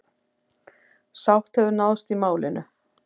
Sátt hefur náðst í málinu.